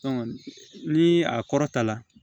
ni a kɔrɔta la